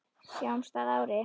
Sjáumst að ári.